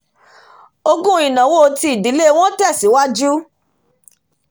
ògún ìnáwó ti ìdílé wọn tẹ̀síwájú